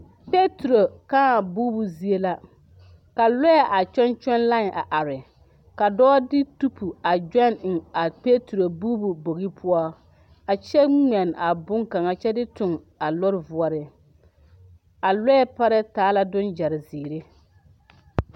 Peturo kãã buubu zie la ka lɔɛ kyɔŋ kyɔŋ lain a are ka dɔɔ de tupu a gyɔn eŋ a peturo buubu bogi poɔ a kyɛ ŋmɛn a bon kaŋa kyɛ de tuŋ eŋ a lɔɔre voɔriŋ a lɔɛ parɛɛ taa la dɔggyɛ zēēre.